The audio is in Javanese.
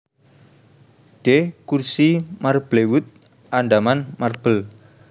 D kurzii Marblewood Andaman Marble